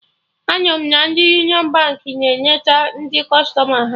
Anụrụ m na ndị Union Baankị na-enete ndị kụstọma ha